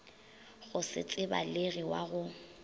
go se tsebalege wa go